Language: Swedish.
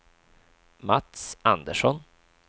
Mats Andersson